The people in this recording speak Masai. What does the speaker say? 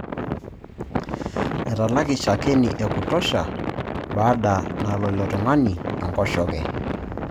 Etalaki shakeni ekutosha baada nalo ilotung'ani enkoshoke.